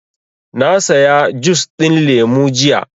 Na saya jus ɗin lemu jiya